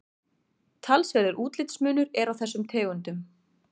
talsverður útlitsmunur er á þessum tegundum